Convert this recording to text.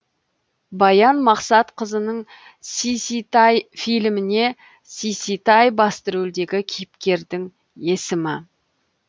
баян мақсатқызының сиситай фильміне сиситай басты рөлдегі кейіпкердің есімі